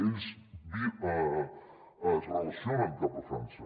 ells es relacionen cap a frança